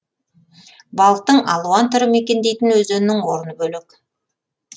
балықтың алуан түрі мекендейтін өзеннің орны бөлек